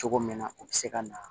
Cogo min na u bɛ se ka na